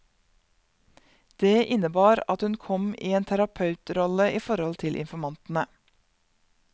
Det innebar at hun kom i en terapeutrolle i forhold til informantene.